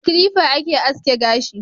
Da kilifa ake aske gashi